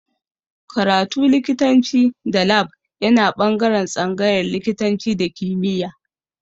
Karatu likitanci da lab yana ɓangaren tsangayar likitanci da kimiya